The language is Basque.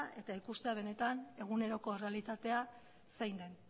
eta ikustea benetan eguneroko errealitatea zein den